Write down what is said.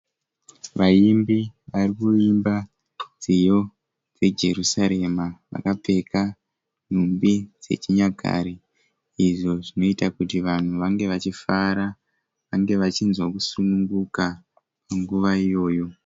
Vaimbi vari kuimba nziyo dzejerusarema. Vakapfeka nhumbi dzechinyakare izvo zvinoita kuti vanhu vange vachifara vange vachinzwa kusununguka munguva iyoyo.